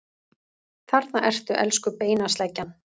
Þarna ertu, elsku beinasleggjan!